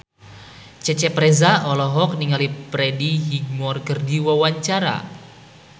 Cecep Reza olohok ningali Freddie Highmore keur diwawancara